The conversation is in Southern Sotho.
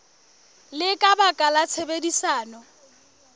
le ka baka la tshebedisano